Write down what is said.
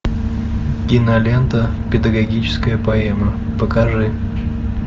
кинолента педагогическая поэма покажи